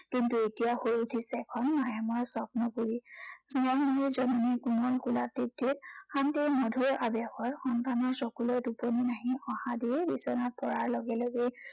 কিন্তু এতিয়া হৈ উঠিছে এখন মায়াময় স্বপ্নপুৰী। জননী জন্মভূমিৰ কোমল কোলাতেই যে শান্তিৰ মধুৰ আৱেশৰ সন্ধানত চকুলৈ টোপনি নাহি, অহা দিয়েই বিছনাত পৰাৰ লগে লগেই